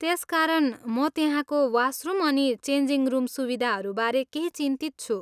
त्यसकारण, म त्यहाँको वासरुम अनि चेन्जिङ रुम सुविधाहरूबारे केही चिन्तित छु।